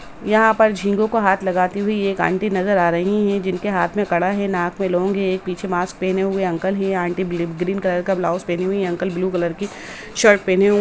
यहाँ पर झिंगो को हाथ लगाती हुई एक आंटी नजर आ रही हैं जिनके हाथ में कड़ा है नाक में लॉन्ग है एक पीछे मास्क पेहेने हुए अंकल है यह आंटी ब्ल ग्रीन कलर का ब्लाउज पेहनी हुई है अंकल ब्लू कलर की शर्ट पेहेने हुए हें।